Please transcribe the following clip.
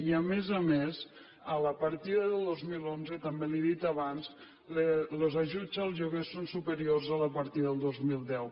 i a més a més a la partida del dos mil onze també li ho he dit abans els ajuts al lloguer són superiors a la partida del dos mil deu